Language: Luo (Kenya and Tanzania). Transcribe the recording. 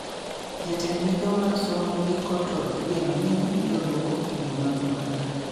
Jatend migao mar somo giko to igeno ni biro duoko penjo mag oganda